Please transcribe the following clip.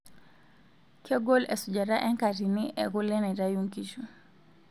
Kegol esujata enkatini ekule naitayu nkishu.